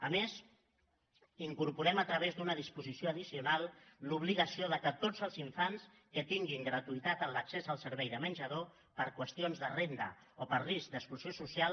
a més hi incorporem a través d’una disposició addicional l’obligació que tots els infants que tinguin gratuïtat en l’accés al servei de menjador per qüestions de renda o per risc d’exclusió social